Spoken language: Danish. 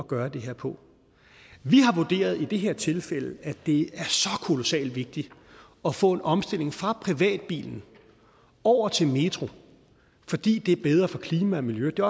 gøre det her på vi har i det her tilfælde at det er så kolossalt vigtigt at få en omstilling fra privatbilen over til metro fordi det er bedre for klima og miljø det